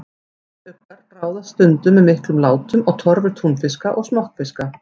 Hvítuggar ráðast stundum með miklum látum á torfur túnfiska og smokkfiska.